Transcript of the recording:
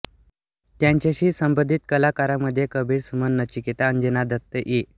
त्यांच्याशी संबंधित कलाकारांमध्ये कबीर सुमन नचिकेता अंजना दत्त इ